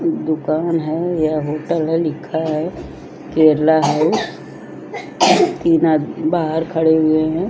दुकान है यह होटल है लिखा है केरला है तीन आदमी बहार खड़े हुए है।